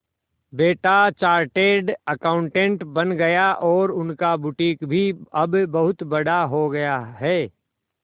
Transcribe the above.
बेटा chartered accountant बन गया और उनका बुटीक भी अब बहुत बड़ा हो गया है